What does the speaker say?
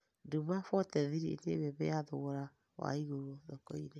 Duma 43 nĩ mbembe ya thogora wa igũrũ thoko-inĩ